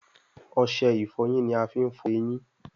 Ọṣẹ ìfọyín ní a fín fọ ẹyìn.